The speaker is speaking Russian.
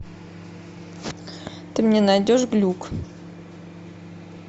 ты мне найдешь глюк